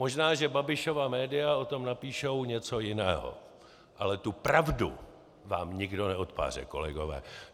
Možná že Babišova média o tom napíšou něco jiného, ale tu pravdu vám nikdo neodpáře, kolegové!